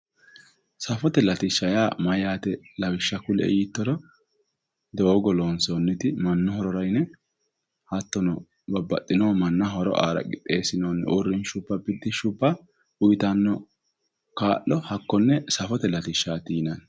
Safote latishsha yaa mayate lawishsha ku'lie yittoro doogo loonsonniti manchu horora yinne hattonno babbaxxino mannaho horo aara qixxesinonni urrinshuwa yittano hakkuri safote latishshati yinnanni